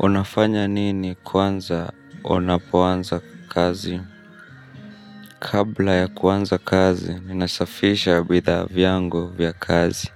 Unafanya nini kwanza unapoanza kazi? Kabla ya kuanza kazi, ninasafisha bidhaa vyangu vya kazi.